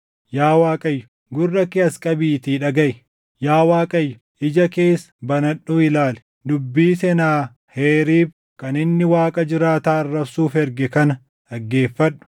Yaa Waaqayyo, gurra kee as qabiitii dhagaʼi; yaa Waaqayyo ija kees banadhuu ilaali; dubbii Senaaheriib kan inni Waaqa jiraataa arrabsuuf erge kana dhaggeeffadhu.